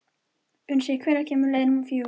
Unnsi, hvenær kemur leið númer fjögur?